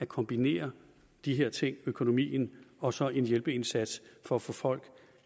kombinere de her ting økonomien og så en hjælpeindsats for at få folk